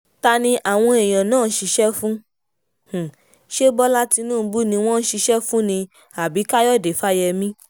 ta ni àwọn èèyàn náà ń ṣiṣẹ́ fún ṣe bọ́lá tínúbù ni wọ́n ń ṣiṣẹ́ fún ni àbí káyọ̀dé fáyemí